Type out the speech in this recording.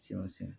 Siyɔ sɛnɛn